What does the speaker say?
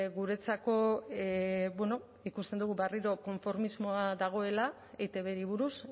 guretzako bueno ikusten dugu berriro konformismoa dagoela etbri buruz